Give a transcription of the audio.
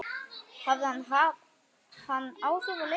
Hafði hann áhrif á leikinn?